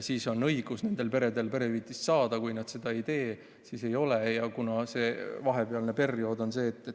Kui jah, siis on nendel peredel õigus perehüvitist saada, kui nad seda ei tee, siis seda õigust ei ole.